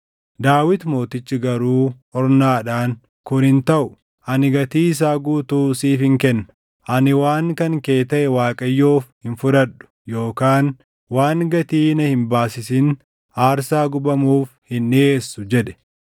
Daawit Mootichi garuu Ornaadhaan, “Kun hin taʼu; ani gatii isaa guutuu siifin kenna. Ani waan kan kee taʼe Waaqayyoof hin fudhadhu yookaan waan gatii na hin baasisin aarsaa gubamuuf hin dhiʼeessu” jedhe.